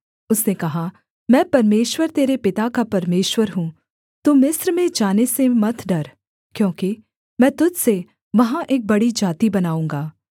उसने कहा मैं परमेश्वर तेरे पिता का परमेश्वर हूँ तू मिस्र में जाने से मत डर क्योंकि मैं तुझ से वहाँ एक बड़ी जाति बनाऊँगा